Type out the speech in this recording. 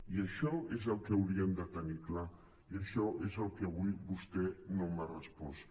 i això és el que haurien de tenir clar i això és el que avui vostè no m’ha respost